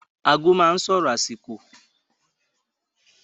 Ago máa n sọrọ àsìkò.